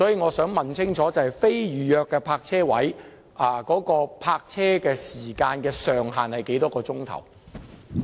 我想問清楚，非預約泊車位的泊車時限是多少個小時呢？